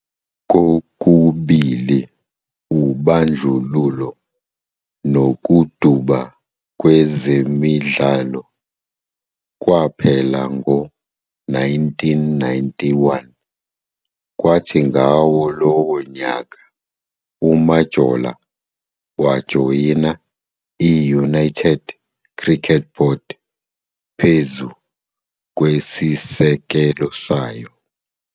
Kokubili ubandlululo nokuduba kwezemidlalo kwaphela ngo-1991,kwathi ngawo lowo nyaka, uMajola wajoyina i- United Cricket Board phezu kwesisekelo sayo.